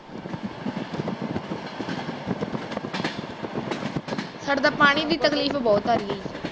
ਸਾਡੇ ਤਾਂ ਪਾਣੀ ਦੀ ਤਕਲੀਫ ਬਹੁਤ ਆ ਰਹੀ